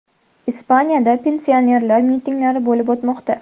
Ispaniyada pensionerlar mitinglari bo‘lib o‘tmoqda.